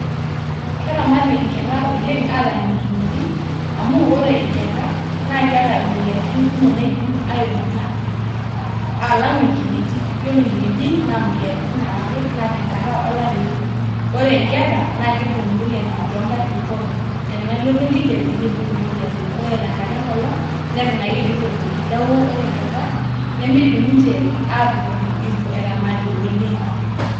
Keramati inkera oleng aalang inkineji amu ore inkera naa keeta imoyiaritin naidim aaibung'a alang inkineji ore inkineji naa imoyiaritin are ake naa tenkata olari eeibung ore inkera naa keibung imoyiaritin toonkatitin pookin ore tenelotu enkijape neibung imoyiaritin ore tenkata enkolong neton ake eidim aibung'a neeku ore inkera nemeidim ninche aatotoni eitu eramati oleng.